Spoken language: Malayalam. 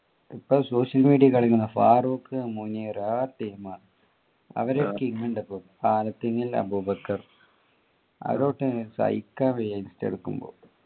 ഇപ്പൊ social media ഫാറൂഖ് മുനീർ ആഹ് team ആണ് അവര് team ഉണ്ട് ഇപ്പൊ ൽ അബൂബക്കർ അതൊട്ടു സഹിക്കാൻ വയ്യ ഇൻസ്റ്റ എടുക്കുമ്പോ